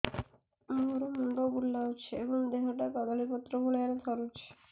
ମୋର ମୁଣ୍ଡ ବୁଲାଉଛି ଏବଂ ଦେହଟା କଦଳୀପତ୍ର ଭଳିଆ ଥରୁଛି